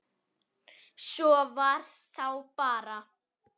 Það var þá bara